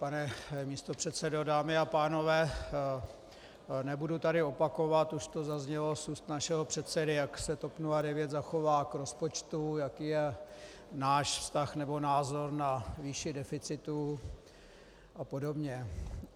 Pane místopředsedo, dámy a pánové, nebudu tady opakovat, už to zaznělo z úst našeho předsedy, jak se TOP 09 zachová k rozpočtu, jaký je náš vztah nebo názor na výši deficitu a podobně.